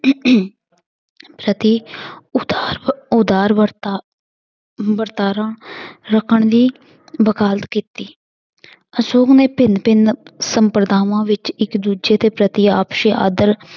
ਸਤੀ ਉਦਾਰ ਉਦਾਰ ਵਰਤਾ ਵਰਤਾਰਾ ਰੱਖਣ ਦੀ ਵਕਾਲਤ ਕੀਤੀ ਅਸ਼ੋਕ ਨੇ ਭਿੰਨ ਭਿੰਨ ਸੰਪਰਦਾਵਾਂ ਵਿੱਚ ਇੱਕ ਦੂਜੇ ਦੇ ਪ੍ਰਤੀ ਆਪਸੀ ਆਦਰ